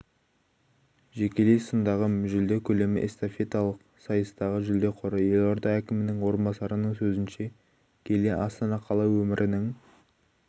жекелей сындағы жүлде көлемі эстафеталық сайыстағы жүлде қоры елорда әкімінің орынбасарының сөзінше киелі астана қала өмірінің